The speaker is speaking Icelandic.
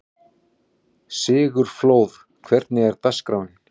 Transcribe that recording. Sigurfljóð, hvernig er dagskráin?